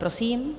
Prosím.